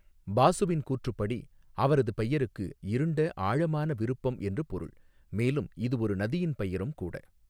பாசுவின் கூற்றுப்படி, அவரது பெயருக்கு 'இருண்ட ஆழமான விருப்பம்' என்று பொருள், மேலும் இது ஒரு நதியின் பெயரும் கூட.